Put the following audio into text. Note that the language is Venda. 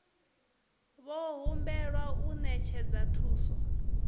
vho humbelwa u ṅetshedza thuso